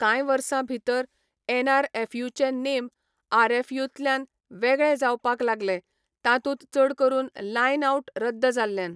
कांय वर्सां भितर एनआरएफयूचे नेम आरएफयूंतल्यान वेगळे जावपाक लागले, तातूंत चड करून लायन आउट रद्द जाल्ल्यान.